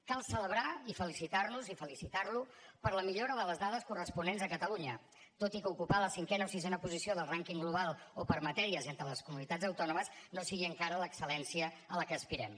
cal celebrar i felicitar nos i felicitar lo per la millora de les dades corresponents a catalunya tot i que ocupar la cinquena o sisena posició del rànquing global o per matèries entre les comunitats autònomes no sigui encara l’excel·lència a què aspirem